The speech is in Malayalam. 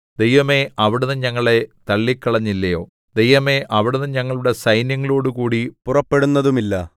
ദൈവമേ അവിടുന്ന് ഞങ്ങളെ തള്ളിക്കളഞ്ഞില്ലയോ ദൈവമേ അവിടുന്ന് ഞങ്ങളുടെ സൈന്യങ്ങളോടുകൂടി പുറപ്പെടുന്നതുമില്ല